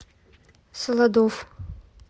солодовъ